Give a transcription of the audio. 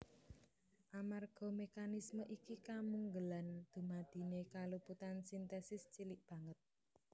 Amarga mékanisme iki kamungelan dumadineé kaluputan sintesis cilik banget